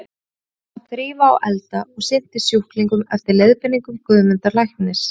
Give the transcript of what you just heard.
Hún sá um að þrífa og elda og sinnti sjúklingnum eftir leiðbeiningum Guðmundar læknis.